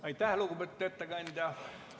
Aitäh, lugupeetud ettekandja!